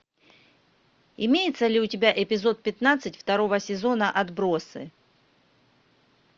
имеется ли у тебя эпизод пятнадцать второго сезона отбросы